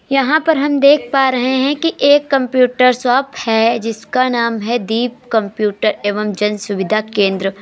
यहां पर हम देख पा रहे हैं कि एक कंप्यूटर शॉप है जिसका नाम है दीप कंप्यूटर एवं जन सुविधा केंद्र।